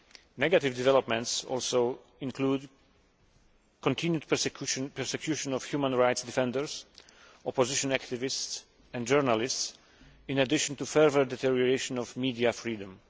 Negative developments also include the continued persecution of human rights defenders, opposition activists and journalists, in addition to further deterioration of media freedom.